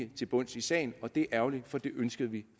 til bunds i sagen og det er ærgerligt for det ønskede vi